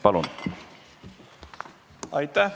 Palun!